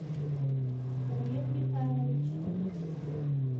олег михайлович